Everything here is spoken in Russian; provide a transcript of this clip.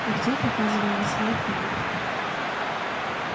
артём показал на свой автомат